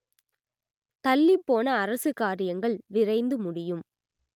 தள்ளிப் போன அரசு காரியங்கள் விரைந்து முடியும்